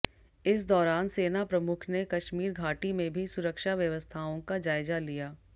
इस दौरान सेना प्रमुख ने कश्मीर घाटी में भी सुरक्षा व्यवस्थाओं का जायजा लिया